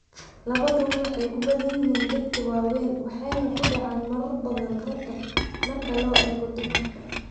Labaduba waxay ku badan yihiin dadka waaweyn waxayna ku dhacaan marar badan ragga marka loo eego dumarka.